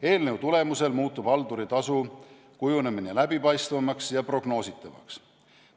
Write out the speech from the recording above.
Eelnõu tulemusel muutub halduritasu kujunemine läbipaistvamaks ja prognoositavaks.